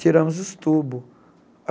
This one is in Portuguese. Tiramos os tubos.